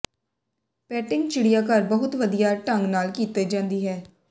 patting ਚਿੜੀਆਘਰ ਬਹੁਤ ਵਧੀਆ ਢੰਗ ਨਾਲ ਕੀਤੀ ਜਾਂਦੀ ਹੈ